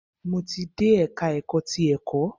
Mo ti dé ẹka ẹ̀kọ́ ti ẹ̀kọ́.